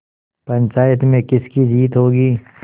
पंचायत में किसकी जीत होगी